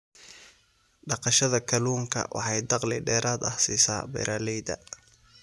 Beeralayda beeralayda kalluunku waxay dakhli dheeraad ah siisaa beeralayda.